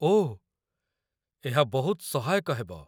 ଓଃ, ଏହା ବହୁତ ସହାୟକ ହେବ।